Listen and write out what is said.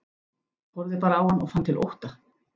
Horfði bara á hann og fann til ótta.